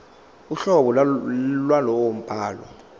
uhlobo lwalowo mbhalo